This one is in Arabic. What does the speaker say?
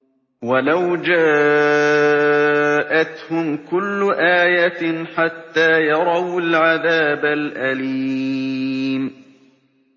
وَلَوْ جَاءَتْهُمْ كُلُّ آيَةٍ حَتَّىٰ يَرَوُا الْعَذَابَ الْأَلِيمَ